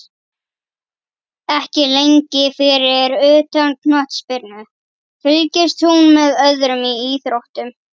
Ekki lengi Fyrir utan knattspyrnu, fylgist þú með öðrum íþróttum?